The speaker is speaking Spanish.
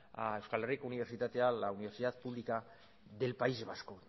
a euskal herriko unibertsitatea la universidad pública del país vasco